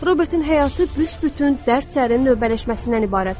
Robertin həyatı büsbütün dərd sərin növbələşməsindən ibarət idi.